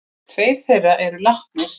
Tveir þeirra eru látnir.